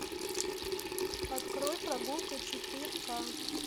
открой прогулка четыре ка